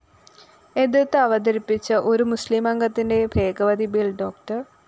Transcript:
എതിര്‍ത്ത് അവതരിപ്പിച്ച ഒരു മുസ്ലിം അംഗത്തിന്റെ ഭേദഗതി ബിൽ ഡോ